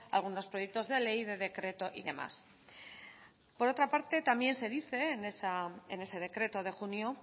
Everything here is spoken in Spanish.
algunos proyectos de ley de decreto y demás por otra parte también se dice en ese decreto de junio